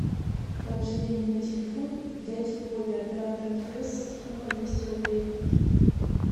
положи деньги на телефон дяде вове оператор мтс сумма двести рублей